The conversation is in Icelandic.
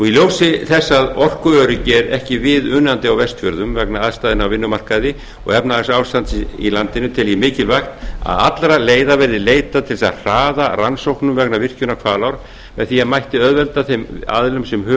í ljósi þess að orkuöryggi er ekki viðunandi á vestfjörðum vegna aðstæðna á vinnumarkaði og efnahagsástandsins í landinu tel ég mikilvægt að allra leiða verði leitað til þess að hraða rannsóknum vegna virkjunar hvalár með því mætti auðvelda þeim aðilum sem hug